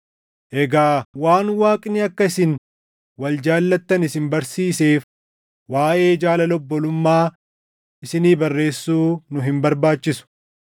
Egaa waan Waaqni akka isin wal jaallattan isin barsiiseef waaʼee jaalala obbolummaa isinii barreessuu nu hin barbaachisu.